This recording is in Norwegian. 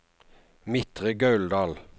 Midtre Gauldal